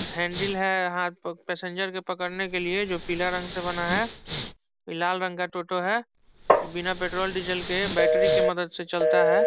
Handle है हाथ passenger को पकड़ने के लिए जो पीला रंग से बना है लाल रंग का टोटो है इ बिना पेट्रोल डीजल के बैटरी की मदद से चलता है।